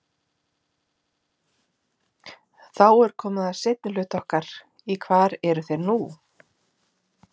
Þá er komið að seinni hluta okkar í hvar eru þeir nú?